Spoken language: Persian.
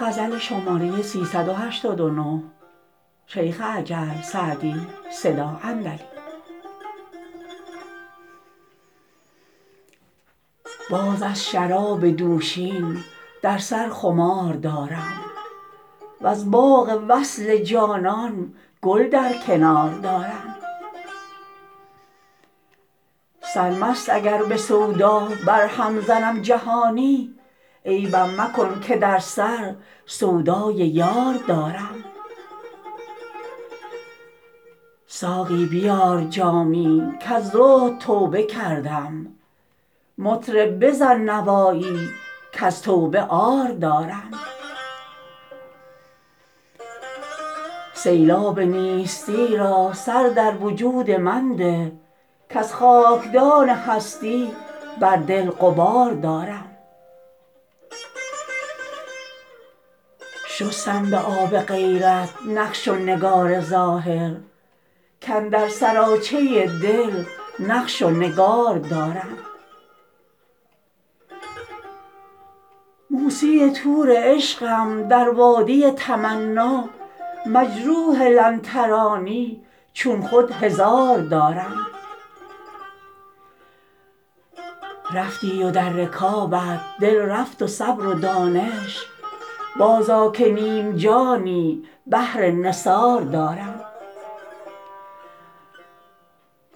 باز از شراب دوشین در سر خمار دارم وز باغ وصل جانان گل در کنار دارم سرمست اگر به سودا برهم زنم جهانی عیبم مکن که در سر سودای یار دارم ساقی بیار جامی کز زهد توبه کردم مطرب بزن نوایی کز توبه عار دارم سیلاب نیستی را سر در وجود من ده کز خاکدان هستی بر دل غبار دارم شستم به آب غیرت نقش و نگار ظاهر کاندر سراچه دل نقش و نگار دارم موسی طور عشقم در وادی تمنا مجروح لن ترانی چون خود هزار دارم رفتی و در رکابت دل رفت و صبر و دانش بازآ که نیم جانی بهر نثار دارم